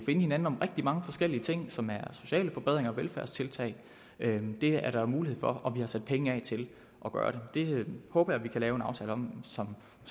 hinanden om rigtig mange forskellige ting som er sociale forbedringer og velfærdstiltag det er der mulighed for og vi har sat penge af til at gøre det det håber jeg vi kan lave en aftale om som